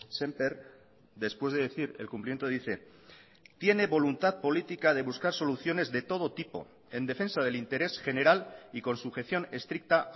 semper después de decir el cumplimiento dice tiene voluntad política de buscar soluciones de todo tipo en defensa del interés general y con sujeción estricta